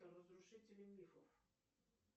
разрушители мифов